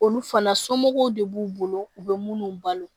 Olu fana somɔgɔw de b'u bolo u bɛ minnu balo